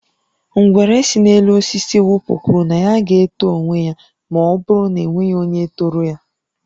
Ngwere si n'elu osisi wụpụ kwụrụ na ya ga-eto onwe ya ma ọ bụrụ na e nweghị onye toro ya